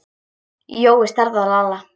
Jói starði á Lalla.